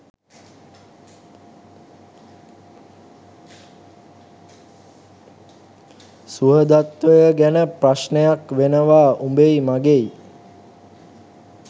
සුහදත්වය ගැන ප්‍රශ්නයක් වෙනවා උබෙයි මගෙයි .